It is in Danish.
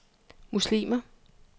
muslimer